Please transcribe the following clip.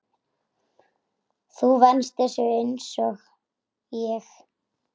Þú venst þessu einsog ég.